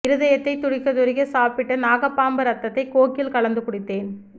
இருதயத்தை துடிதுடிக்க சாப்பிட்டு நாக பாம்பு ரத்தத்தை கோக்கில் கலந்து குடித்தேன்